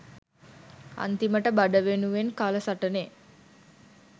අන්තිමට බඩ වෙනුවෙන් කල සටනෙ